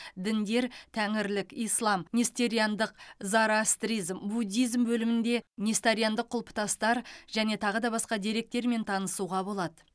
діндер тәңірлік ислам нестериандық зороастризм буддизм бөлімінде нестериандық құлпытастар және тағы да басқа деректермен танысуға болады